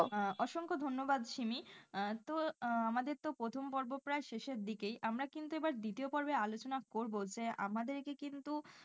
আহ অসংখ্য ধন্যবাদ শিমি আহ তো আমাদের তো প্রথম পর্ব প্রায় শেষের দিকেই আমরা কিন্তু এবার দ্বিতীয় পর্বে আলোচনা করব যে আমাদেরকে কিন্তু,